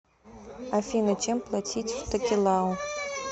афина чем платить в токелау